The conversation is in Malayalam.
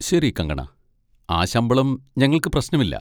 ശരി, കങ്കണ, ആ ശമ്പളം ഞങ്ങൾക്ക് പ്രശ്നമില്ല.